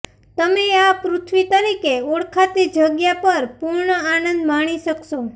તમે આ પૃથ્વી તરીકે ઓળખાતી જગ્યા પર પૂર્ણ આનંદ માણી શકશો